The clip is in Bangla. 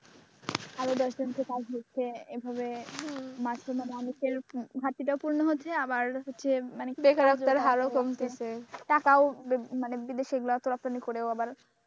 ঘাটতিটাও পূরণ হচ্ছে আবার হচ্ছে মানে কি বেকারত্বের হার ও কমছে টাকাও মানে বিদেশি গুলোই রপ্তানি করেও আবার,